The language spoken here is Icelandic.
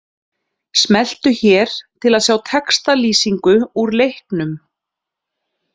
Smelltu hér til að sjá textalýsingu úr leiknum